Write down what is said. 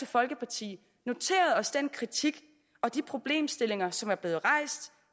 folkeparti noteret os den kritik og de problemstillinger som er blevet rejst